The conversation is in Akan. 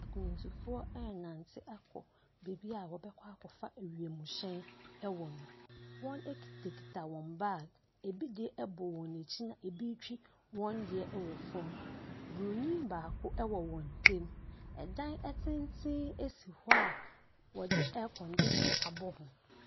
Akwantufoɔ ɛrenante akɔ beebi a wɔbɛkɔ akɔfa wiemhyɛn wɔ no, wɔkitakita wɔn baage, ɛbi deɛ bɔ wɔn akyi na bi ɛretwi wɔn deɛ wɔ fam, bronin baako wɔ wɔn ntam. Dan tsentsen si hɔ a wɔde air-condition abɔ ho.